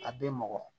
A bɛ mɔgɔ